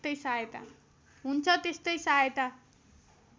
हुन्छ त्यस्तै सहायता